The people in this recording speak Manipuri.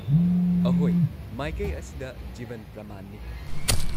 ꯑꯍꯣꯏ, ꯃꯥꯏꯀꯩ ꯑꯁꯤꯗ ꯖꯤꯕꯟ ꯄ꯭ꯔꯃꯥꯟꯅꯤ꯫